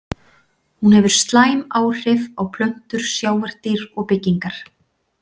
Hún hefur slæm áhrif á plöntur, sjávardýr og byggingar.